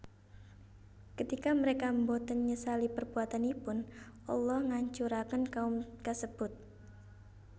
Ketika mereka boten nyesali perbuatanipun Allah nghancuraken kaum kasebut